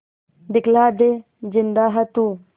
दिखला दे जिंदा है तू